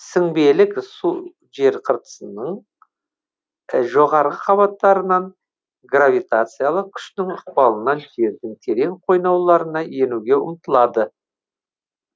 сіңбелік су жер қыртысының жоғарғы қабаттарынан гравитациялық күштің ықпалынан жердің терең қойнауларына енуге ұмтылады